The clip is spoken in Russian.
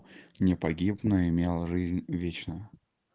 не погиб но имел жизнь вечную